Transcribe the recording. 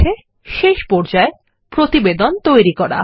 ঠিক আছে শেষ পর্যায় প্রতিবেদন তৈরী করা